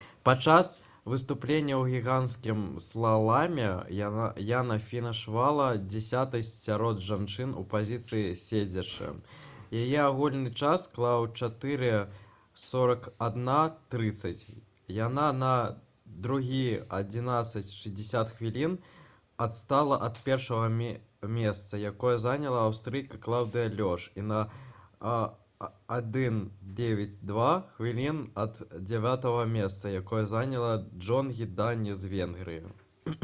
падчас выступлення ў гіганцкім слаламе яна фінішавала дзясятай сярод жанчын у пазіцыі седзячы. яе агульны час склаў 4:41.30. яна на 2:11.60 хвілін адстала ад першага месца якое заняла аўстрыйка клаўдыя лёш і на 1:09.02 хвілін ад дзявятага месца якое заняла джонгі дані з венгрыі